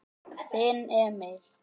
Þinn Emil.